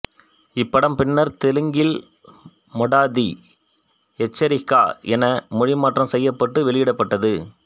இப்படம் பின்னர் தெலுங்கில் மொடதி எச்சரிகா என மொழிமாற்றம் செய்யப்பட்டு வெளியிடப்பட்டது